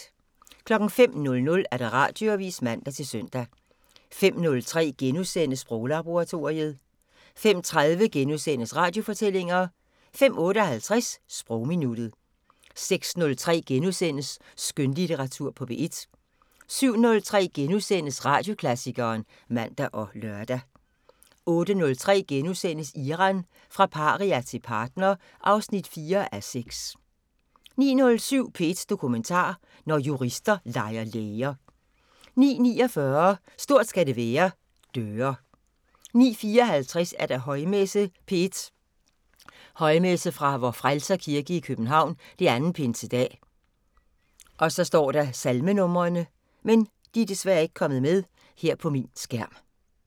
05:00: Radioavisen (man-søn) 05:03: Sproglaboratoriet * 05:30: Radiofortællinger * 05:58: Sprogminuttet 06:03: Skønlitteratur på P1 * 07:03: Radioklassikeren *(man og lør) 08:03: Iran – fra paria til partner (4:6)* 09:07: P1 Dokumentar: Når jurister leger læger 09:49: Stort skal det være: Døre 09:54: Højmesse - P1 Højmesse fra Vor Frelser Kirke, København. 2. Pinsedag. Salmenumre: